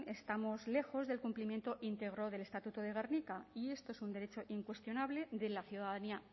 estamos lejos del cumplimiento íntegro del estatuto de gernika y esto es un derecho incuestionable de la ciudadanía